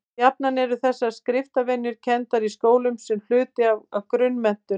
jafnan eru þessar skriftarvenjur kenndar í skólum sem hluti af grunnmenntun